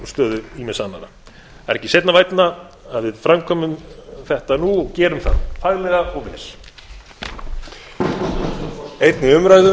stöðu ýmissa annarra það er ekki seinna vænna að við framkvæmum þetta nú og gerum það faglega og vel